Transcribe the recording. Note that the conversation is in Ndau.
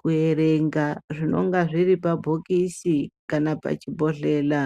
kuerenga zvinenge zviri pabhokisi kana pachibhodhlera